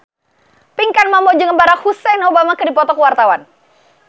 Pinkan Mambo jeung Barack Hussein Obama keur dipoto ku wartawan